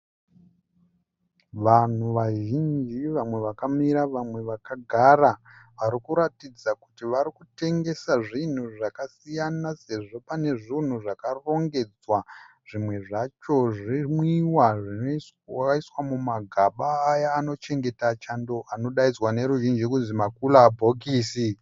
Vanhu vazhinji vamwe vakamira vamwe vakagara varikuratidza kuti varikutengesa zvinhu zvakasiyana sezvo pane zvinhu zvakarongedzwa zvimwe zvacho zvimwiwa zvakaiswa mumagaba aya anochengeta chando anodainzwa noruzhinji kuti makura bhokisi.